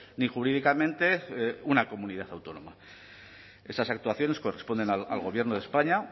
ni jurídicamente una comunidad autónoma esas actuaciones corresponden al gobierno de españa